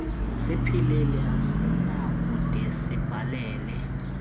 siphilile asinakude sibhalele